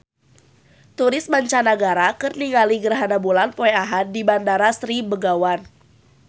Turis mancanagara keur ningali gerhana bulan poe Ahad di Bandar Sri Begawan